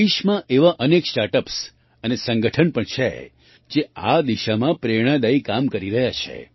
દેશમાં એવાં અનેક સ્ટાર્ટ અપ્સ અને સંગઠન પણ છે જે આ દિશામાં પ્રેરણાદાયી કામ કરી રહ્યાં છે